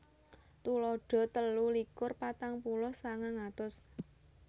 Tuladha telu likur patang puluh sangang atus